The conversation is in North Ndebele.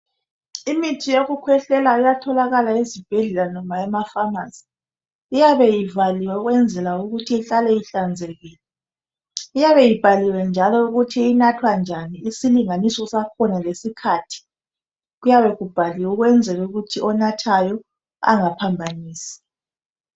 Imithi yokukwehlela iyatholakala ezibhedlela kumbe noma phamarcy iyabe ivaliwe ukwenzela ukuthi ihlale ihlanzekile iyabe ibhaliwe njalo ukuthi inathwa njani isilinganiso sakhona lesikhathi kuyabe kukbhaliwe ukwenzela ukuthi onathayo angaphambanisi